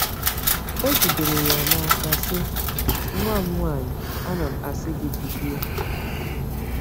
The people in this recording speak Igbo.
O jidere ya n’aka sị: “Nwa m nwanyị, ana m asị gị, Bilie!”